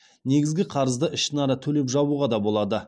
негізгі қарызды ішінара төлеп жабуға да болады